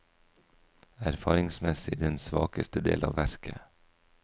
Erfaringsmessig den svakeste del av verket.